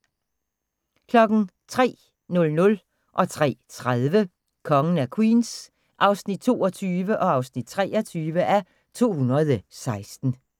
03:00: Kongen af Queens (22:216) 03:30: Kongen af Queens (23:216)